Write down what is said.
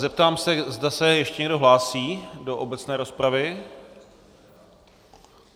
Zeptám se, zda se ještě někdo hlásí do obecné rozpravy.